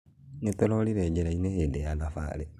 Nĩtũrorire njirainĩ hĩndĩ ya thabarĩ